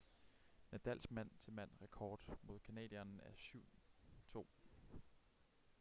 nadals mand-til-mand rekord mod canadieren er 7-2